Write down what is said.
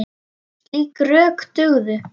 Slík rök dugðu.